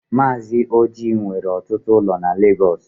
Mazi Ọji nwere ọtụtụ ụlọ na Lagos.